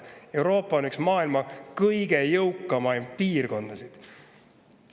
Euroopa on üks maailma kõige jõukamaid piirkondasid.